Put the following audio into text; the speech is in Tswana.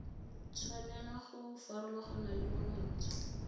tshwanela go farologana le monontsha